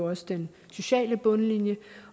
også den sociale bundlinje